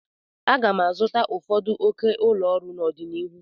M ga-azụta ụfọdụ oke ụlọ ọrụ n'ọdịnihu.